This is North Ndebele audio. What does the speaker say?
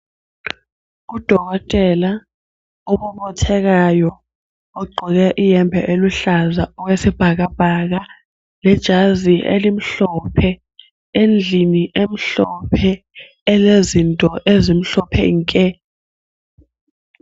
Udokotela obothekayo ogqoke iyembe eluhlaza okwesibhakabhaka lejazi elimhlophe , endlini emhlophe elezinto ezimhlophe nke.